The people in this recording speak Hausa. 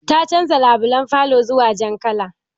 Ta canza labulan falo zuwa jan kala